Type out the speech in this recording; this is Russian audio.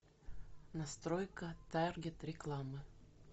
настройка таргет рекламы